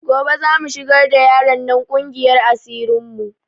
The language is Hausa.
Gobe za mu shigar da yaron nan ƙungiyar asirin mu